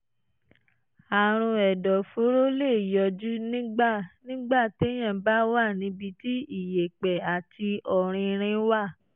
àrùn ẹ̀dọ̀fóró lè yọjú nígbà nígbà téèyàn bá wà níbi tí iyẹ̀pẹ̀ àti ọ̀rinrin wà